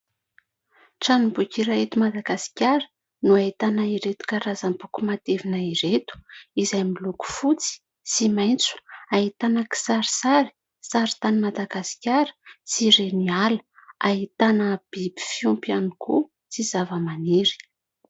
Tranomboky iray eto Madagasikara no ahitana ireto karazam-boky matevina ireto, izay miloko fotsy sy maitso. Ahitana kisarisary, sary tanin'i Madagasikara sy reniala, ahitana biby fiompy ihany koa sy zava-maniry.